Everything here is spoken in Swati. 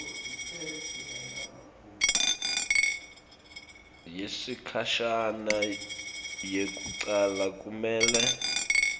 yesikhashana yekucala kumele